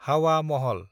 हावा महल